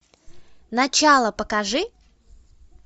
начало покажи